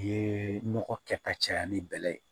Ye nɔgɔ kɛta caya ni bɛlɛ ye